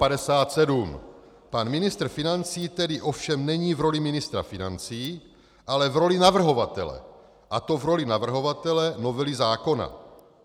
Pan ministr financí tedy ovšem není v roli ministra financí, ale v roli navrhovatele, a to v roli navrhovatele novely zákona.